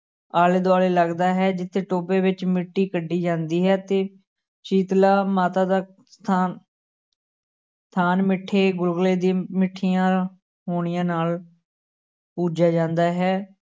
ਆਲੇ ਦੁਆਲੇ ਲੱਗਦਾ ਹੈ ਜਿੱਥੇ ਟੋਭੇ ਵਿੱਚ ਮਿੱਟੀ ਕੱਢੀ ਜਾਂਦੀ ਹੈ ਤੇ ਸ਼ੀਤਲਾ ਮਾਤਾ ਦਾ ਥਾਂ ਥਾਨ ਮਿੱਟੇ ਗੁਲਗੁਲੇ ਦੀ ਮਿੱਠੀਆਂ ਹੋਣੀਆਂ ਨਾਲ ਪੂਜਿਆ ਜਾਂਦਾ ਹੈ।